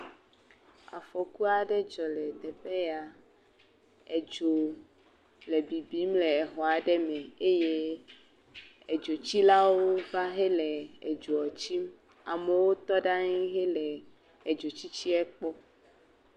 Afɔku aɖe dzɔ le teƒe ya, edzo le bibim le exɔ aɖe me eye edzotsilawo va xele edzo tsim. Amewo tɔ ɖe anyi hele edzotsitsia kpɔm.